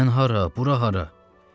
Sən hara, bura hara?